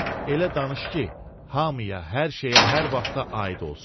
Elə danış ki, hamıya, hər şeyə, hər vaxta aid olsun.